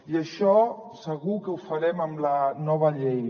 i això segur que ho farem amb la nova llei